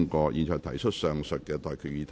我現在向各位提出上述待決議題。